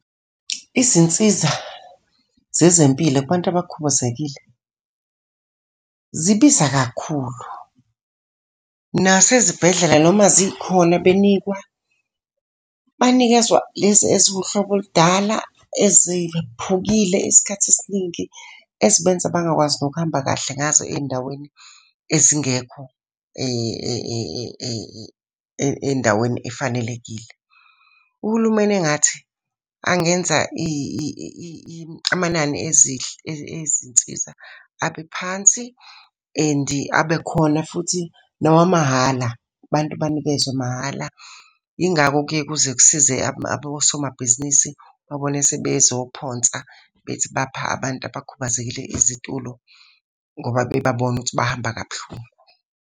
Izinsiza zezempilo kubantu abakhubazekile, zibiza kakhulu. Nasezibhedlela noma zikhona benikwa, banikezwa lezi eziwuhlobo oludala eziphukile isikhathi esiningi, ezibenza bangakwazi nokuhamba kahle ngazo ey'ndaweni ezingekho endaweni efanelekile. Uhulumeni engathi angenza amanani ezinsiza abe phansi and abe khona futhi nawa mahhala, abantu banikezwe mahhala. Yingakho kuze kusize abo somabhizinisi ubabone sebezophonsa bethi bapha abantu abakhubazekile izitulo ngoba bebabona ukuthi bahamba kabuhlungu.